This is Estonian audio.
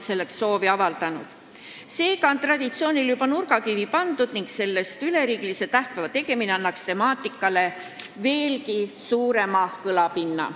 Seega on traditsioonile juba nurgakivi pandud, aga üleriigilise tähtpäeva kehtestamine annaks temaatikale veelgi suurema kõlapinna.